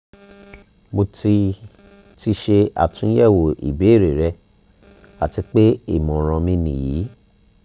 mo ti ti ṣe atunyẹwo ibeere rẹ ati pe imọran mi niyi